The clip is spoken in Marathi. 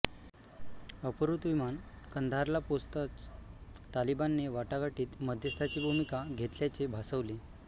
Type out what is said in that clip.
अपहृत विमान कंदाहारला पोहोचताच तालिबानने वाटाघाटीत मध्यस्ताची भूमिका घेतल्याचे भासवले